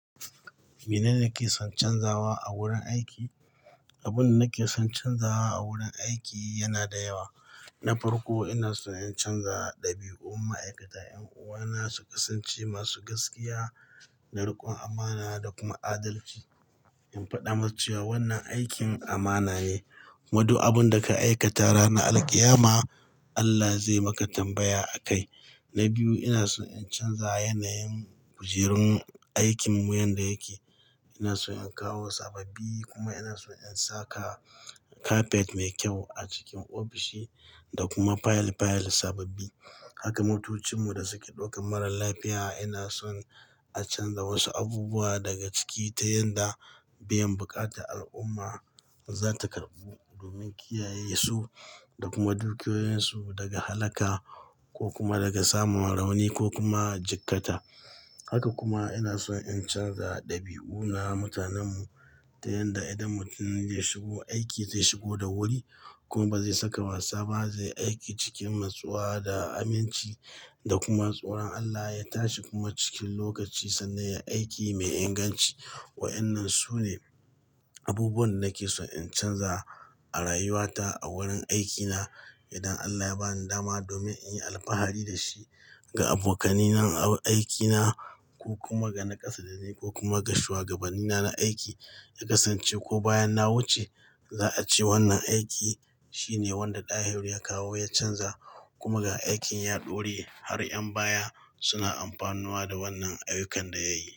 Mene ne kake son canzawa a wurin aiki? Abin da nake son canzawa a wurin aiki yana da yawa. Na farko, ina so in canza ɗabi'un ma'aikata. 'Yan uwana su kasance masu gaskiya, da riƙon amana da kuma adalci. In faɗa musu cewa wannan aikin amana ne. Wato abin da ka aikata ranar Alkiyama, Allah zai maka tambaya akai. Na biyu, ina son in canza yanayin kujerun aikinmu yadda yake. Ina son in kawo sababbi kuma ina son in saka kafet mai kyau a cikin ofishi da kuma fayil-fayil sababbi. Haka mutucinmu da suke ɗaukan mara lafiya ina son a canza wasu abubuwa daga ciki ta yadda biyan buƙatan al'umma za ta karɓu domin kiyaye su da kuma dukiyoyinsu daga halaka ko kuma daga samun rauni ko kuma jikkata. Haka kuma ina son in canza ɗabi'una mutanenmu ta yadda idan mutum zai shigo aiki, zai shigo da wuri kuma ba zai saka wasa ba, zai yi aiki cikin masowa da aminci da kuma tsoron Allah ya tashi kuma cikin lokaci sannan ya yi aiki mai inganci. Wa'annan sune abubuwan da nake son in canza a rayuwata a wurin aikina. Idan Allah ya ba ni dama domin in yi alfahari da shi ga abokanai na aikinaku ko kuma ga na ƙasa da ni ko kuma ga shugabanni na aiki, ya kasance ko bayan na wuce za a ce wannan aiki shine wanda Dahiru ya kawo ya canza kuma ga aikin ya ɗore har 'yan baya suna amfanuwa da wannan ayyukan da yayi.